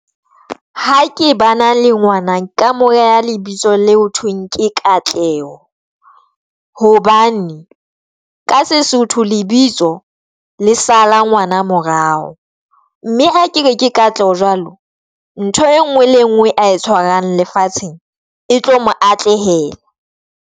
Ha ke bana le ngwana nka moreha lebitso le ho thweng ke Katleho hobane ka Sesotho lebitso le sala ngwana morao mme ha ke ke Katleho jwalo ntho engwe le engwe a e tshwarang lefatsheng e tlo mo atlehela.